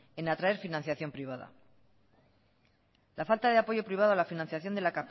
en atraer financiación privada la falta de apoyo privado a la financiación de la